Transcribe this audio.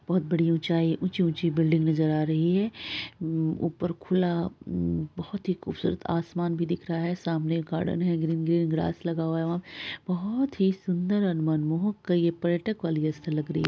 बहुत बड़ी ऊंची- ऊंची बिल्डिंग नजर आ रही है । ऊपर खुला बहोत ही खूबसूरत असमान भी दिख रहा है। सामने गार्डन है ग्रीन ग्रीन घास लगा हुआ है। बहुत ही सुंदर और मनमोहक सा ये पर्यटक वाली स्थल लग रही है।